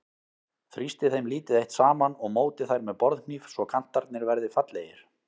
Þrýstið þeim lítið eitt saman og mótið þær með borðhníf svo kantarnir verði fallegir.